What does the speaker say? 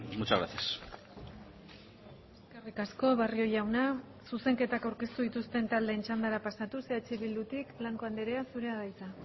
muchas gracias eskerrik asko barrio jauna zuzenketak aurkeztu dituzten taldeen txandara pasatuz eh bildutik blanco andrea zurea da hitza